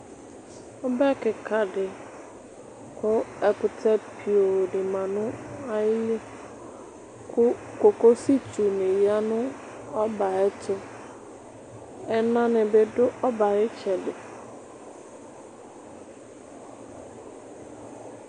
Obɛ kika di, kʋ ɛkʋtɛ pioo di ma nʋ ayili, kʋ kokosi itsu ni ya nʋ ɔbɛ yɛ ayɛtʋ Ena ni bɩ du ɔbɛ yɛ ayɩtsɛdɩ